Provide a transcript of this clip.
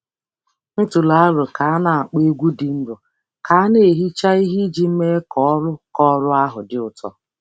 M tụrụ aro ka a na-akpọ egwú dị nro ka a na-ehicha ihe iji mee ka ọrụ ka ọrụ ahụ dị ụtọ.